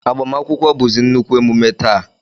Agbamakwụkwọ bụzi nnukwu emume taa